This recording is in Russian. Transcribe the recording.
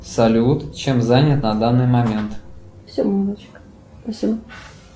салют чем занят на данный момент